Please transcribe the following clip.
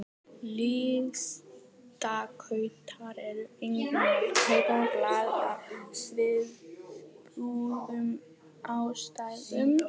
Listskautar eru einnig með kúpt blað af svipuðum ástæðum.